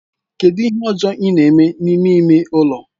Kedu ihe ọzọ ị na-eme n'ime ime ụlọ?